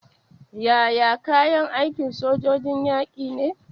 Yaya kayan aikin sojoji yake ne?